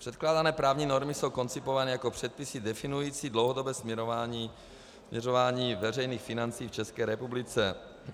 Předkládané právní normy jsou koncipované jako předpisy definující dlouhodobé směřování veřejných financí v České republice.